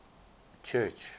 church